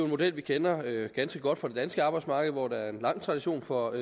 model vi kender ganske godt fra det danske arbejdsmarked hvor der er en lang tradition for